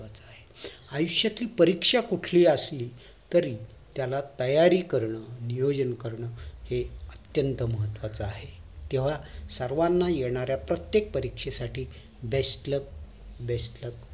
आयुष्यातील परीक्षा कुठलीही असली तरी त्याला तयारी कारण नियोजन करण हे अत्यतं महत्वाचं आहे तेंव्हा सर्वाना येणारा प्रत्येक परीक्षा साठी best luck best luck